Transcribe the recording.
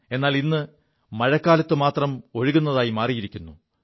എാലി് മഴക്കാലത്ത് മാത്രം ഒഴുകുതായിരിക്കുു